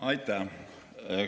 Aitäh!